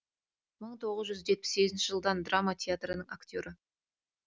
мың тоғыз жүз жетпіс сегізінші жылдан драма театрының актері